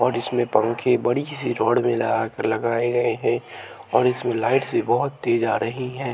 और इसमें पंखे बड़ी सी रॉड में लगाकर लगाए गए हैं और इसमें लाइट्स भी बहुत तेज़ आ रही हैं।